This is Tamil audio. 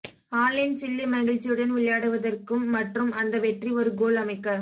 ஆன்லைன் சில்லி மகிழ்ச்சியுடன் விளையாடுவதற்கும் மற்றும் அந்த வெற்றி ஒரு கோல் அமைக்க